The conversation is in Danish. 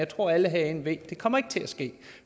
tror at alle herinde ved at det ikke kommer til at ske